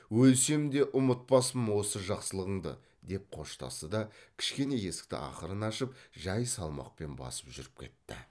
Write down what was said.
өлсем де ұмытпаспын осы жақсылығыңды деп қоштасты да кішкене есікті ақырын ашып жай салмақпен басып жүріп кетті